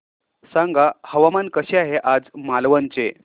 सांगा हवामान कसे आहे आज मालवण चे